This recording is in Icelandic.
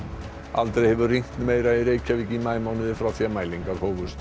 aldrei hefur rignt meira í Reykjavík í maímánuði frá því að mælingar hófust